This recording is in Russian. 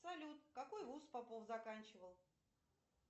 салют какой вуз попов заканчивал